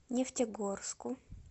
нефтегорску